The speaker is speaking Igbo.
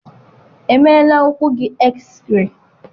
Emeela ụkwụ gị eksịrei?